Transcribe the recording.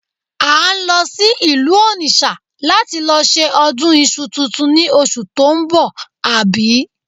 À ń lọ sí ìlú Onitsha láti lọ ṣe ọdún iṣu tuntun ni oṣù tó ń bọ̀, àbí?